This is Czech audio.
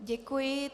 Děkuji.